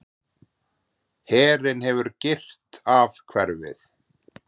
Herinn hefur girt af hverfið.